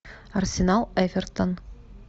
арсенал эвертон